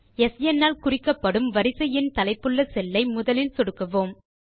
ஸ்ன் ஆல் குறிக்கப்படும் வரிசை எண் தலைப்புள்ள செல்லை முதலில் சொடுக்குவோம்